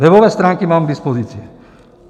Webové stránky mám k dispozici.